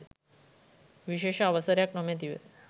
විශේෂ අවසරයක් නොමැතිව